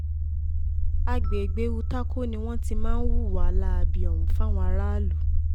àgbègbè utákó ni wọ́n ti máa ń hùwà láabi ọ̀hún fáwọn aráàlú